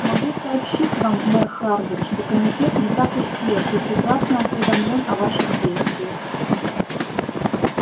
могу сообщить вам мэр хардин что комитет не так уж слеп и прекрасно осведомлён о ваших действиях